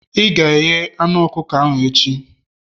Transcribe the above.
ị ga-eghe anu ọkụkọ ahụ echi!